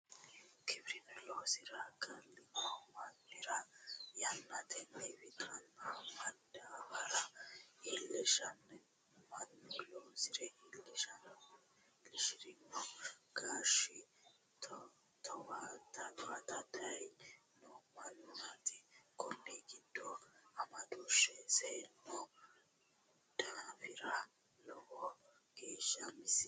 Giwirinu loosire galino mannira yannatenni wixanna madaabara iilisheenna mannu loosire iilishirino geesha towaatara daye noo mannaati kunni gidi amadooshe seeno daafira lowo geesha misino.